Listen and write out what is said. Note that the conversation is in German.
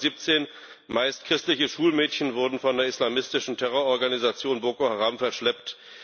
217 meist christliche Schulmädchen wurden von der islamistischen Terrororganisation Boko Haram verschleppt.